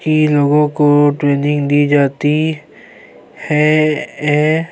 کی لوگو کو ٹریننگ دی جاتی ہے ای--